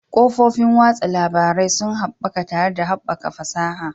Kafofin watsa labarai sun haɓaka tare da haɓakar fasaha.